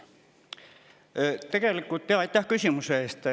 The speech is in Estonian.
Aitäh küsimuse eest!